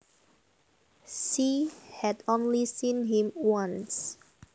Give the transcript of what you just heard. She had only seen him once